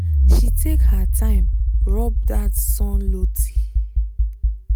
she take her time rub that sun loti